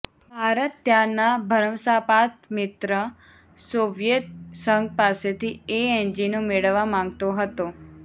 ભારત ત્યારના ભરંસાપાત્ર મિત્ર સોવિયેત સંઘ પાસેથી એ એન્જિનો મેળવવા માગતો હતો